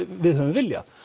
við höfum viljað